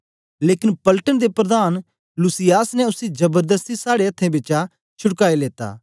लेकन पलटन दे प्रधान लूसियास ने उसी जबरदस्ती साड़े अथ्थें बिचा छुड़काई लेता